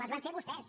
les van fer vostès